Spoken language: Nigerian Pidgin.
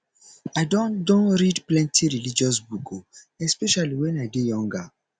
i don don read plenty religious book o especially wen i dey younger